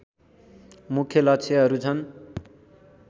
मुख्य लक्ष्यहरू छन्